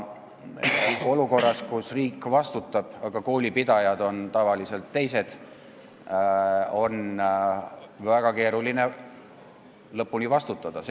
Olukorras, kus riik vastutab, aga koolipidajad on tavaliselt teised, on väga keeruline lõpuni vastutada.